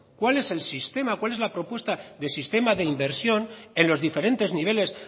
cuál es el sistema cuál es la propuesta de sistema de inversión en los diferentes niveles